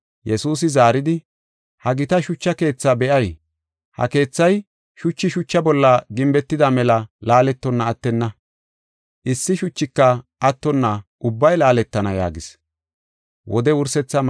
Yesuusi zaaridi, “Ha gita shucha keethaa be7ay? Ha keethay shuchi shucha bolla gimbetida mela laaletonna attenna; issi shuchika attonna ubbay laaletana” yaagis.